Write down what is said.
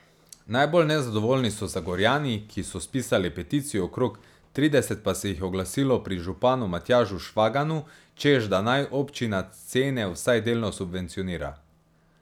Najbolj nezadovoljni so Zagorjani, ki so spisali peticijo, okrog trideset pa se jih je oglasilo pri županu Matjažu Švaganu, češ da naj občina cene vsaj delno subvencionira.